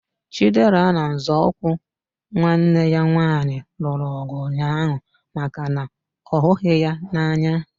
Chidera na nzọụkwụ nwanne ya nwaanyị lụrụ ọgụ ụnyaahụ maka na ọ ghughi ya n'anya